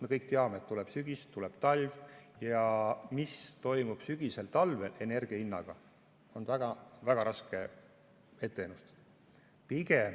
Me kõik teame, et tuleb sügis, tuleb talv ja seda, mis toimub sügisel ja talvel energia hinnaga, on väga raske ennustada.